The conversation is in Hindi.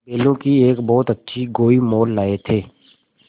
बैलों की एक बहुत अच्छी गोई मोल लाये थे